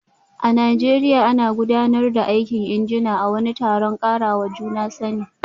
A Najeriya, ana gudanar da aikin injina a wani taron karawa juna sani